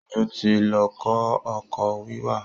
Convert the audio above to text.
Ojó ti lọ kọ́ ọkọ̀ wíwà